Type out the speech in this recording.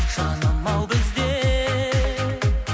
жаным ау біздер